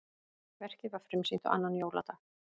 Verkið var frumsýnt á annan jóladag